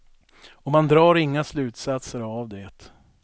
Och man drar inga slutsatser av det.